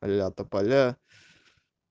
ля тополя